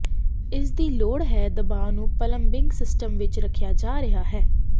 ਇਸ ਦੀ ਲੋੜ ਹੈ ਦਬਾਅ ਨੂੰ ਪਲੰਬਿੰਗ ਸਿਸਟਮ ਵਿੱਚ ਰੱਖਿਆ ਜਾ ਰਿਹਾ ਹੈ